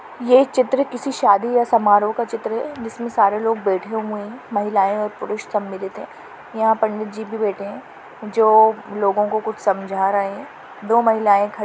ये चित्र किसी शादी या समारोह का चित्र है जिसमे सारे लोग बैठे हुए है महिलाए और पुरुष सम्मिलित है यहाँ पंडित जी भी बैठे है जो लोगो को कुछ समझा रहे है दो महिलाए खड़ी--